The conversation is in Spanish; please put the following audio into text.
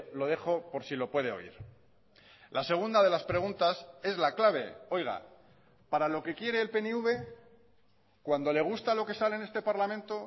lo dejo por si lo puede oír la segunda de las preguntas es la clave oiga para lo que quiere el pnv cuando le gusta lo que sale en este parlamento